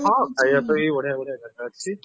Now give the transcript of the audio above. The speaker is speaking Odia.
ହଁ ଖାଇବା ପାଇଁ ବଢିଆ ବଢିଆ ଜାଗା ଅଛି